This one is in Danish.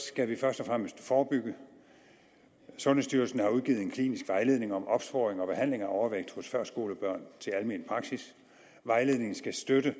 skal vi først og fremmest forebygge sundhedsstyrelsen har udgivet en klinisk vejledning om opsporing og behandling af overvægt hos førskolebørn til almen praksis vejledningen skal støtte